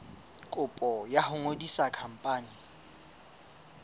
kopo ya ho ngodisa khampani